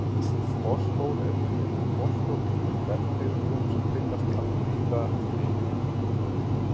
Fosfór er unnin úr fosfórríkum bergtegundum sem finnast allvíða um heiminn.